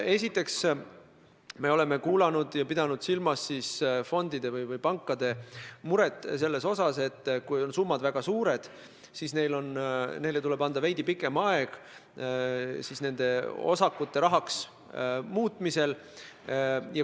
Esiteks, me oleme pidanud silmas fondide või pankade muret, et kui on summad väga suured, siis neile tuleb anda veidi pikem aeg osakute rahaks muutmisel.